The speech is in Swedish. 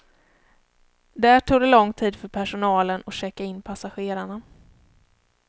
Där tog det lång tid för personalen att checka in passagerarna.